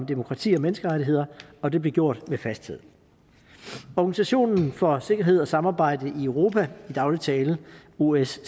demokrati og menneskerettigheder og det blev gjort med fasthed organisationen for sikkerhed og samarbejde i europa i daglig tale osce